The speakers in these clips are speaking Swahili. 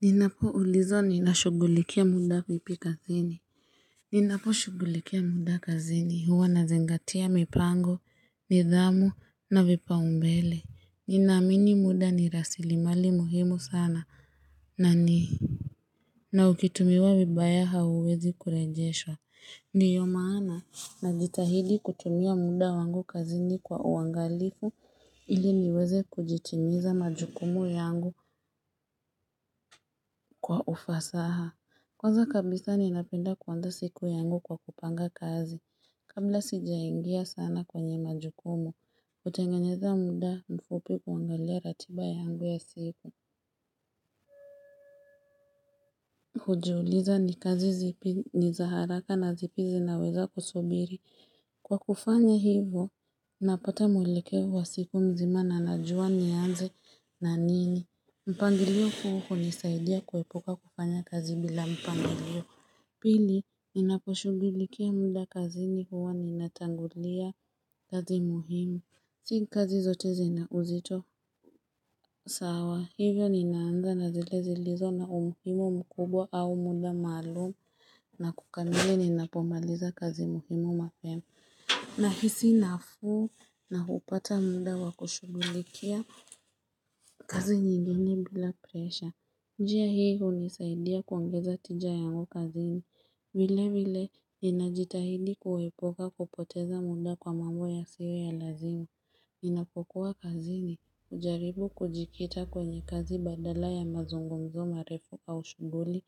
Ninapo ulizwa nilashugulikia muda vipi kazini. Ninapo shugulikia muda kazini huwa nazingatia mipango, nidhamu na vipao mbele. Ninaamini muda ni rasilmali muhimu sana na ni. Na ikitumiwa vibaya hauwezi kurejeswa. Ndiyo maana najitahidi kutumia muda wangu kazini kwa uangalifu ili niweze kujitimiza majukumu yangu kwa ufasaha. Kwanza kabisa ninapinda kuanzaa siku yangu kwa kupanga kazi, kamba sijaingia sana kwenye majukumu, utengenyeza muda mfupi kuangalia ratiba yangu ya siku. Kujiuliza ni kazi zipi ni za haraka na zipi zinaweza kusubiri. Kwa kufanya hivo, napata mwelekeo siku mzima na najua nianze na nini. Mpangilio huwa hunisaidia kuepuka kufanya kazi bila mpangilio. Pili ninaposhugulikia muda kazini huwa ninatangulia kazi muhimu Si kazi zote zina uzito sawa hivyo ninaanza na zile zilizo na umuhimu mkubwa au muda maalum na kukamili ninapomaliza kazi muhimu mapema na hisi nafuu na hupata munda wa kushugulikia kazi nyingine bila presha njia hii hunisaidia kuangeza tija yangu kazi ni vile vile, ninajitahidi kuepuka kupoteza muda kwa mambo yasiyo ya lazima. Ninapokuwa kazini, hujaribu kujikita kwenye kazi badala ya mazungumzo marefu au shuguli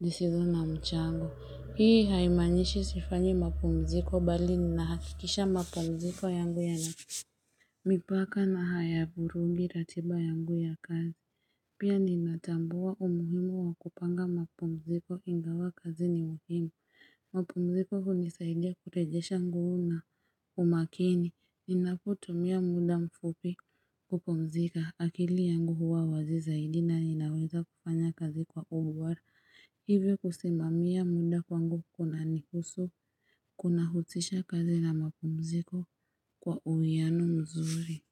sisizo na mchango. Hii haimaanishi sifanyi mapumziko bali ninahakikisha mapumziko yangu ya nafisi. Mipaka na hayavurugi ratiba yangu ya kazi. Pia ninatambua umuhimu wa kupanga mapomziko ingawa kazi ni uhimu mapumziko hunisaidia kurejesha nguvu na umakini Ninapo tumia muda mfupi kupumzika akili yangu huwa wazi zaidi na ninaweza kufanya kazi kwa ubora Hivyo kusimamia muda kwangu kuna nihusu Kuna huzisha kazi na mapumziko kwa uiano mzuri.